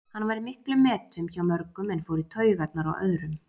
Hann var í miklum metum hjá mörgum en fór í taugarnar á öðrum.